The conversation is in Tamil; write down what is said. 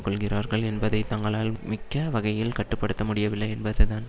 கொள்கிறார்கள் என்பதை தங்களால் மிக்க வகையில் கட்டு படுத்த முடியவில்லை என்பதுதான்